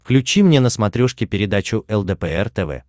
включи мне на смотрешке передачу лдпр тв